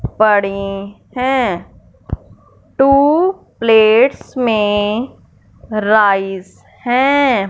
बड़ी हैं two plates में राइस है।